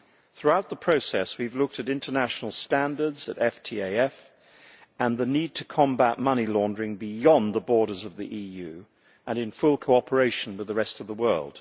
Throughout the process, we have looked at international standards, at FATF, and at the need to combat money laundering beyond the borders of the EU and in full cooperation with the rest of the world.